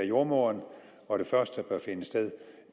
jordemoderen og det første bør finde sted